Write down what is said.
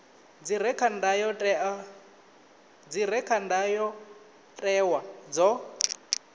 dzi re kha ndayotewa dzo